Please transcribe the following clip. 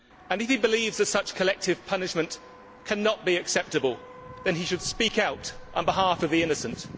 If he believes that such collective punishment cannot be acceptable, he should speak out on behalf of the innocent.